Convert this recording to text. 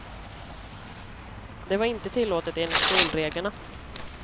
Det var inte tillåtet enligt skolreglerna.